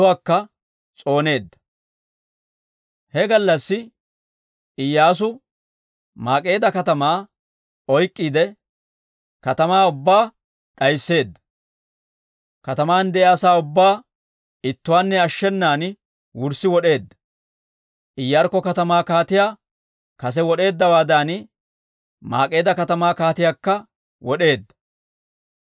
He gallassi Iyyaasu Maak'eeda katamaa oyk'k'iide katamaa ubbaa d'aysseedda; kataman de'iyaa asaa ubbaa ittuwaanne ashshenan wurssi wod'eedda. Iyaarkko katamaa kaatiyaa kase wod'eeddawaadan, Mak'k'eedda katamaa kaatiyaakka wod'eedda.